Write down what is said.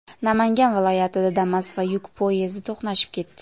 Namangan viloyatida Damas va yuk poyezdi to‘qnashib ketdi.